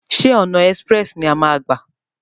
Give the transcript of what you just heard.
Ṣé ọ̀nà ẹ́sprẹ̀sì ni a máa a gbà?